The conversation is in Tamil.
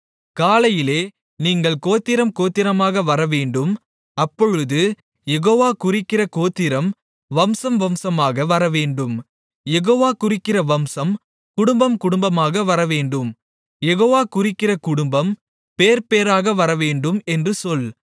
காலையிலே நீங்கள் கோத்திரம் கோத்திரமாக வரவேண்டும் அப்பொழுது யெகோவா குறிக்கிற கோத்திரம் வம்சம் வம்சமாக வரவேண்டும் யெகோவா குறிக்கிற வம்சம் குடும்பம் குடும்பமாக வரவேண்டும் யெகோவா குறிக்கிற குடும்பம் பேர்பேராக வரவேண்டும் என்று சொல்